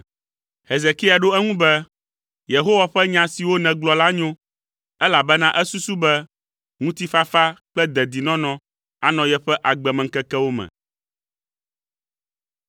Hezekia ɖo eŋu be, “Yehowa ƒe nya siwo nègblɔ la nyo,” elabena esusu be, “Ŋutifafa kple dedinɔnɔ anɔ yeƒe agbemeŋkekewo me.”